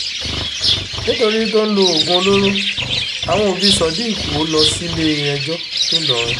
nítorí tó ń lo oògùn olóró àwọn òbí sodiq wò ó lọ sílé-ẹjọ́ ńìlọrin